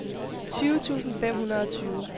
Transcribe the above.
tyve tusind fem hundrede og tyve